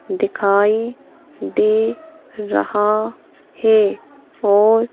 दिखाई दे रहा है और--